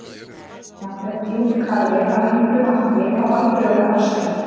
Jafnframt er djúpkarfi að einhverju marki á alþjóðlegu hafsvæði.